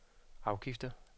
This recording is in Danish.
afgifter